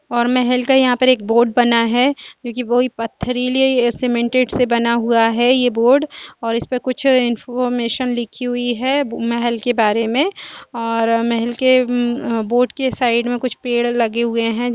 और महल का यहाँ पर एक बोर्ड बना है क्यूंकि वोई पथरीले सीमेंटेड से बना हुआ है ये बोर्ड और इसपे कुछ इन्फॉर्मेशन लिखी हुई है महल के बारे में और महल के उम्म आ बोर्ड के साइड में कुछ पेड़ लगे हुए हैं।